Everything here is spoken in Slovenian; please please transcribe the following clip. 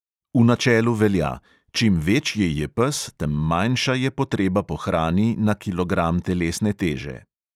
V načelu velja: čim večji je pes, tem manjša je potreba po hrani na kilogram telesne teže.